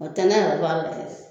Ɔ tɛ nɛ yɛrɛ b'a la